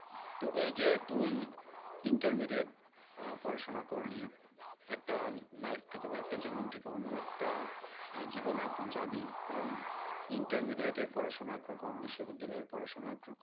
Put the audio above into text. তো এই যে তুই intermediate আহ পড়াশোনা করলি। একটা life থেকে বা একটা জীবন থেকে অন্য একটা আহ জীবনে এখন যাবি কারণ intermediate এর পড়াশোনা একরকম বিশ্ববিদ্যালয়ের পড়াশোনা একরকম।